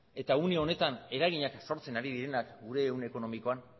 eta une honetan eraginak sortzen ari direnak gure egun ekonomikoan